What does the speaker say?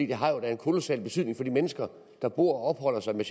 det har jo da en kolossal betydning for de mennesker der bor og opholder sig med